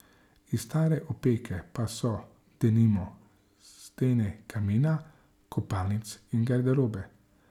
Iz stare opeke pa so, denimo, stene kamina, kopalnic in garderobe.